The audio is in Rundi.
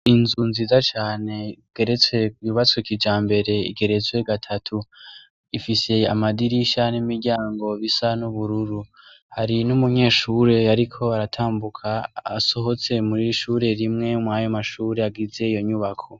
Inzu nziza cane igeretse , yubatswe kijambere, igeretswe gatatu, ifise amadirisha n’imiryango bisa n’ubururu. Hari n’umunyeshure ariko aratambuka asohotse mw’ishure rimwe mwayo mashure agize iyo nyubako.